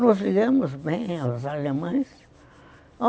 Nós ligamos bem aos alemães.